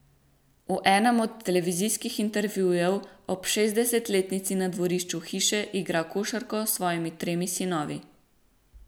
V enem od televizijskih intervjujev ob šestdesetletnici na dvorišču hiše igra košarko s svojimi tremi sinovi.